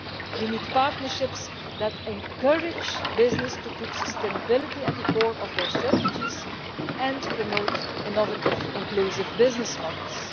We need partnerships that encourage businesses to put sustainability at the core of their strategies and to promote innovative, inclusive business models.